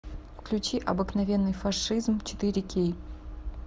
включи обыкновенный фашизм четыре кей